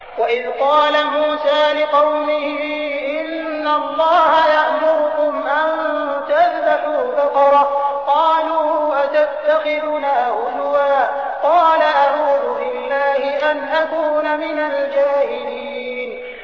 وَإِذْ قَالَ مُوسَىٰ لِقَوْمِهِ إِنَّ اللَّهَ يَأْمُرُكُمْ أَن تَذْبَحُوا بَقَرَةً ۖ قَالُوا أَتَتَّخِذُنَا هُزُوًا ۖ قَالَ أَعُوذُ بِاللَّهِ أَنْ أَكُونَ مِنَ الْجَاهِلِينَ